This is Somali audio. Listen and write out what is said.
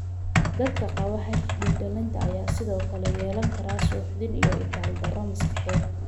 Dadka qaba HD dhallinta ayaa sidoo kale yeelan kara suuxdin iyo itaaldarro maskaxeed.